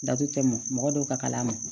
Datugu tɛ mɔn mɔgɔ dɔw ka kala ma